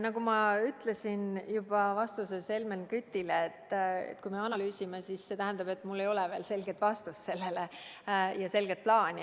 Nagu ma ütlesin juba oma vastuses Helmen Kütile, kui me alles analüüsime, siis see tähendab, et mul ei ole sellele veel selget vastust ja selget plaani.